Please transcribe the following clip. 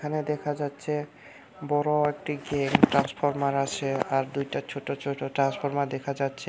এইখানে দেখা যাচ্ছে বড় একটি ট্রান্সফরমার আছে আর দুইটা ছোট ছোট ট্রান্সফরমার দেখা যাচ্ছে।